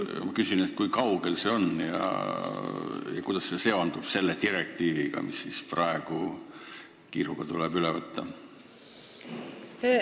Kui kaugel see on ja kuidas see seondub selle direktiiviga, mis tuleb praegu kiiruga üle võtta?